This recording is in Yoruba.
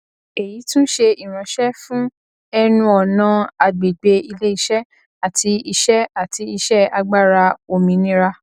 èyí tún ṣé ìránṣẹ fún ẹnuọnà àgbègbè iléiṣẹ àti iṣẹ àti iṣẹ agbára òmìnira